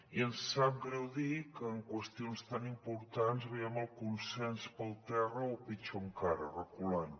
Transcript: i em sap greu dir que en qüestions tan importants veiem el consens per terra o pitjor encara reculant